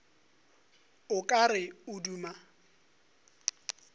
o ka re o duma